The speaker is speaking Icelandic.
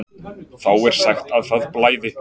Þá er sagt að það blæði.